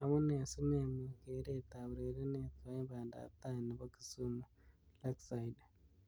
Amunee si memuch keret ab urerenet koim banda ab tai nebo Kisumu Lakeside .